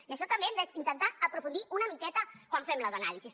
i en això també hi hem d’intentar aprofundir una miqueta quan fem les anàlisis